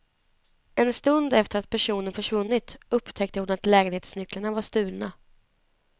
En stund efter att personen försvunnit upptäckte hon att lägenhetsnycklarna var stulna.